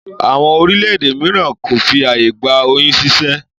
Àwọn orílẹ̀-èdè míràn kò fi ààyè gba oyún ṣíṣẹ́